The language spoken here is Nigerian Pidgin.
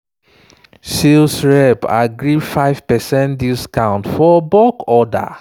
sales rep agree give 5 percent discount for bulk order.